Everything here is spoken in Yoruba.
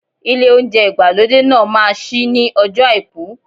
Ilé oúnjẹ ìgbàlódé náà ma ṣí ní ọjọ́ọ Àìkú.